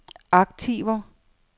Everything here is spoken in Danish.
aktiver